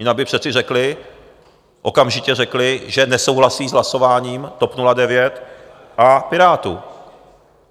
Jinak by přece řekli, okamžitě řekli, že nesouhlasí s hlasováním TOP 09 a Pirátů.